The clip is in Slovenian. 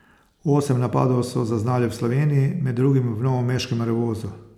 Osem napadov so zaznali v Sloveniji, med drugim v novomeškem Revozu.